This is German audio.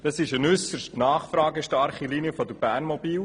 Es handelt sich um eine äusserst nachfragestarke Linie von BERNMOBIL;